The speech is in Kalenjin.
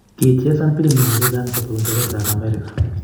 Kichesan pilimisiek chechang chebo Uingereza ak Amerika.